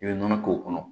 I bɛ nɔnɔ k'o kɔnɔ